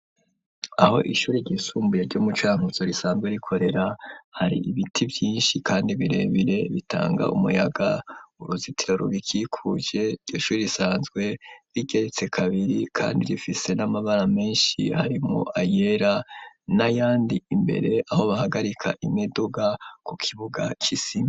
Aho ishuri ryisumbuye ryo mu Cankuzo risanzwe rikorera hari ibiti byinshi kandi birebire bitanga umuyaga uruzitiro rubikikuje ryishuri risanzwe rigeretse kabiri kandi rifise n'amabara menshi hari mu ayera na yandi imbere aho bahagarika imiduga ku kibuga c'isima.